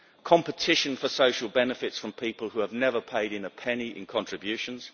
competition for social benefits from people who have never paid in a penny in contributions